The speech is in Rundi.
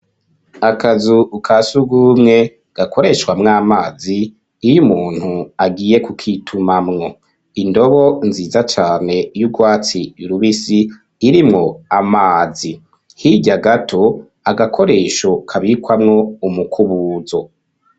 Akazu ka si ugumwe gakoreshwamwo amazi iyo umuntu agiye kukitumamwo, indobo nziza cane y'urwatsi rubisi irimwo amazi, hirya gato agakoresho kabikwamwo umukubuzo.